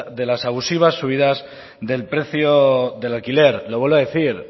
de las abusivas subidas del precio del alquiler lo vuelvo a decir